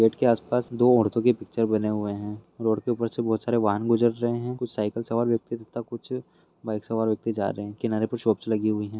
Gate के आस-पास दो औरतों की पिक्चर बने हुए हैं। रोड के ऊपर से बहोत सारे वाहन गुजर रहे हैं। कुछ साइकिल सवार व्यक्ति तथा कुछ बाइक सवार व्यक्ति जा रहे हैं। किनारे पे शॉप्स लगी हुई हैं।